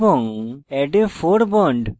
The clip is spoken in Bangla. এবং add a fore bond